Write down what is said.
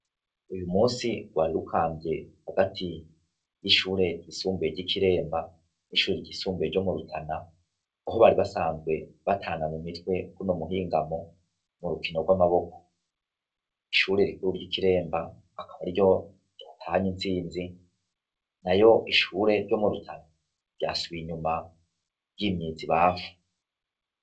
Uyu munsi rwari rukamvye hagati y'ishure ryisumbuye ry'ikiremba ,n'ishure ryisumbuye ryo mu Rutana ,aho bari basanzwe batana mu mitwe kuno muhingamo mu rukino rw'amaboko ,ishure rikuru ry'ikiremba, akaba ariryo yatahanye intsinzi ,na yo ishure ryo mu rutana ryasubiye inyuma ryimyiza ibafu.